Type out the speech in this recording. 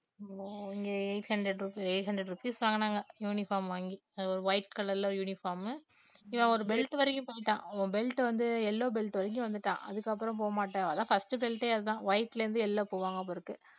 இங்க eight hundred rupee~ eight hundred rupees வாங்கினாங்க uniform வாங்கி அது ஒரு white color ல uniform உ இவன் ஒரு belt வரைக்கும் போயிட்டான் belt வந்து yellow belt வரைக்கும் வந்துட்டான் அதுக்கப்புறம் போமாட்டேன் அதான் first belt யே அதான் white ல இருந்து yellow போவாங்க போலிருக்கு